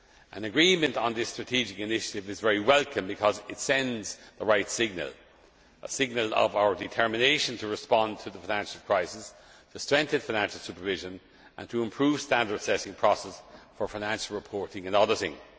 An agreement on this strategic initiative is very welcome because it sends the right signal a signal of our determination to respond to the financial crisis, to strengthen financial supervision and to improve the standard assessing process for financial reporting and auditing.